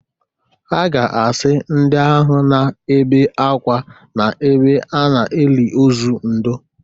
Ha ga-asị ndị ahụ na-ebe ákwá n’ebe a na-eli ozu ndoo